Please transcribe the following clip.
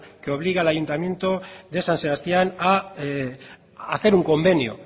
que obligue al ayuntamiento de san sebastián a hacer un convenio